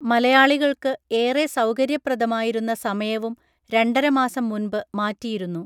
മലയാളികൾക്ക് ഏറെ സൗകര്യപ്രദമായിരുന്ന സമയവും രണ്ടരമാസം മുൻപ് മാറ്റിയിരുന്നു